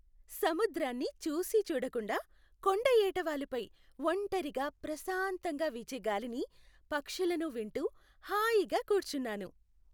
సముద్రాన్ని చూసీచూడకుండా కొండ ఎటావాలుపై ఒంటరిగా ప్రశాంతంగా వీచేగాలిని, పక్షులను వింటూ హాయి కూర్చున్నాను.